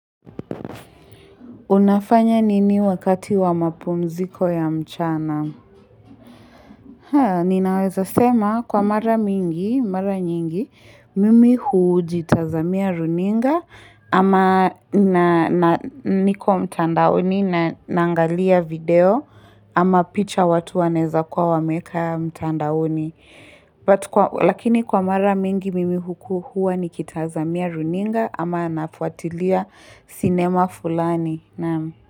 Unafanya nini wakati wa mapumziko ya mchana? Haa, ninaweza sema kwa mara mingi, mara nyingi, mimi hujitazamia runinga ama niko mtandaoni naaangalia video ama picha watu wanaweza kuwa wameeka mtandaoni. Lakini kwa mara mingi mimi huku huwa nikitazamia runinga ama nafuatilia sinema fulani. Naam.